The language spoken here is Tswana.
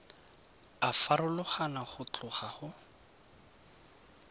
a farologana go tloga go